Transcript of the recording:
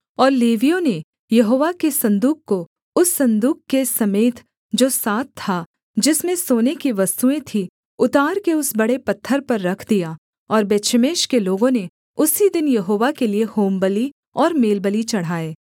और लेवियों ने यहोवा के सन्दूक को उस सन्दूक के समेत जो साथ था जिसमें सोने की वस्तुएँ थी उतार के उस बड़े पत्थर पर रख दिया और बेतशेमेश के लोगों ने उसी दिन यहोवा के लिये होमबलि और मेलबलि चढ़ाए